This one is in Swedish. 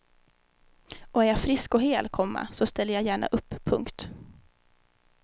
Och är jag frisk och hel, komma så ställer jag gärna upp. punkt